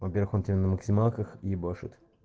во-первых он тебе на максималках ебашит